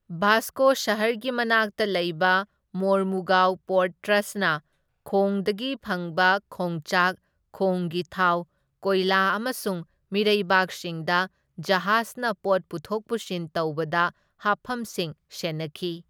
ꯚꯥꯁꯀꯣ ꯁꯍꯔꯒꯤ ꯃꯅꯥꯛꯇ ꯂꯩꯕ ꯃꯣꯔꯃꯨꯒꯥꯎ ꯄꯣꯔꯠ ꯇ꯭ꯔꯁꯠꯅ ꯈꯣꯡꯗꯒꯤ ꯐꯪꯕ ꯈꯣꯡꯆꯥꯛ, ꯈꯣꯡꯒꯤ ꯊꯥꯎ, ꯀꯣꯏꯂꯥ ꯑꯃꯁꯨꯡ ꯃꯤꯔꯩꯕꯥꯛꯁꯤꯡꯗ ꯖꯍꯥꯖꯅ ꯄꯣꯠ ꯄꯨꯊꯣꯛ ꯄꯨꯁꯤꯟ ꯇꯧꯕꯗ ꯍꯥꯞꯐꯝꯁꯤꯡ ꯁꯦꯟꯅꯈꯤ꯫